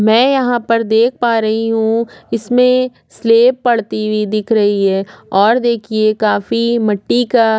में यहाँ पर देख पा रही हु इसमें स्लेब पड़ती हुई दिख रही है और देखिए काफ़ी मिटी का --